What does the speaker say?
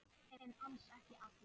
En alls ekki allir.